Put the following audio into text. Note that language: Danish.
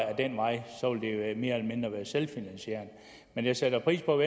ad den vej være mere eller mindre selvfinansierende men jeg sætter pris på